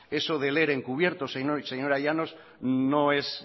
eso del ere en cubierto señora llanos no es